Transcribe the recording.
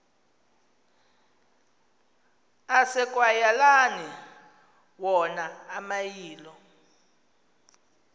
asekwayaleni wona amayilo